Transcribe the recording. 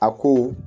A ko